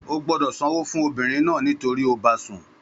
Ó gbọ́dọ̀ sanwó fún obìnrin náà nítorí ó bá a sùn.